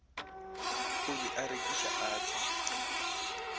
o be a rekiša atšha